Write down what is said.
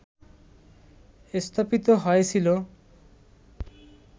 স্থাপিত হয়েছিল